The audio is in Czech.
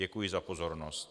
Děkuji za pozornost.